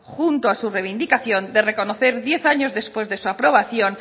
junto a su reivindicación de reconocer diez años después de su aprobación